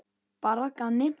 Bara að gamni.